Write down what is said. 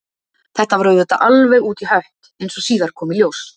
Þetta var auðvitað alveg út í hött, eins og síðar kom í ljós.